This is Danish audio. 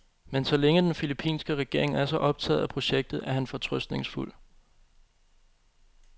Men så længe den filippinske regering er så optaget af projektet, er han fortrøstningsfuld.